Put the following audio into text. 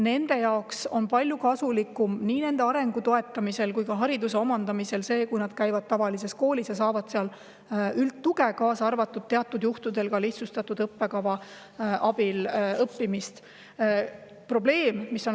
Nende arengu toetamise ja hariduse omandamise mõttes on kasulikum see, kui nad käivad tavalises koolis ja saavad seal üldtuge, kaasa arvatud see, et teatud juhtudel saavad nad õppida lihtsustatud õppekava alusel.